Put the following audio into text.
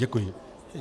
Děkuji.